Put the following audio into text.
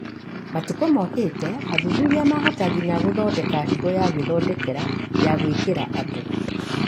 Matukũ mokĩte, athuthuria mahota nginya gũthondeka higo ya gwĩthondekera ya gũĩkĩra andũ